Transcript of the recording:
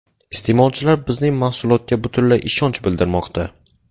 Iste’molchilar bizning mahsulotga butunlay ishonch bildirmoqda”.